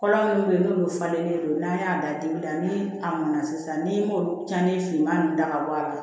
Kɔlɔn munnu be yen n'olu falen don n'an y'a da dibi la ni a mɔn na sisan ni olu tiɲɛni finman ninnu da ka bɔ a la